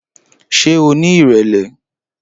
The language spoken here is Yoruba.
Ṣé o ní ìrẹ̀lẹ̀?